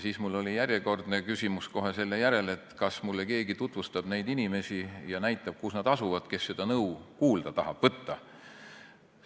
Siis oli mul järjekordne küsimus kohe selle järel, et kas mulle keegi tutvustab neid inimesi ja näitab, kus nad asuvad, need, kes seda nõu kuulda tahavad võtta.